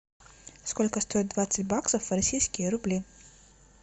сколько стоит двадцать баксов в российские рубли